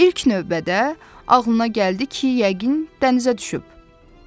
İlk növbədə ağlına gəldi ki, yəqin tənzə düşüb.